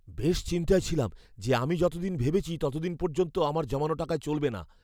বেশ চিন্তায় ছিলাম যে আমি যতদিন ভেবেছি ততদিন পর্যন্ত হয়তো আমার জমানো টাকায় চলবে না।